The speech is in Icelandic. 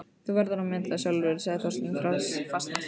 Þú verður að meta það sjálfur sagði Þorsteinn fastmæltur.